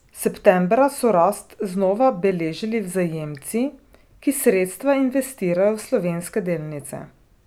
Septembra so rast znova beležili vzajemci, ki sredstva investirajo v slovenske delnice.